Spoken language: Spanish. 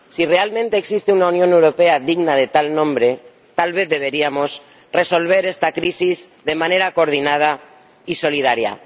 Si realmente existe una Unión Europea digna de tal nombre, tal vez deberíamos resolver esta crisis de manera coordinada y solidaria.